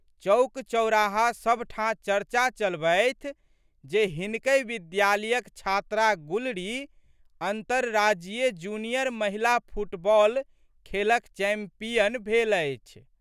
चौकचौराहा सबठाँ चर्चा चलबथि जे हिनकहि विद्यालयक छात्रा गुलरी अन्तरराज्यीय जूनियर महिला फुटबॉल खेलक चैम्पियन भेल अछि।